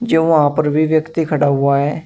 जो वहां पर भी व्यक्ति खड़ा हुआ है।